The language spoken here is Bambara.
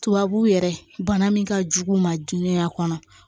Tubabu yɛrɛ bana min ka jugu u ma jonun a kɔnɔ